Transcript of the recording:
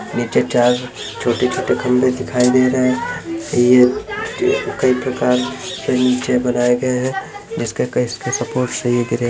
नीचे चार छोटे छोटे खंभे दिखाई दे रहे है ये कई प्रकार के नीचे बनाये गए है जिसके सपोर्ट से ये गिरे--